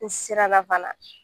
N siranna fana.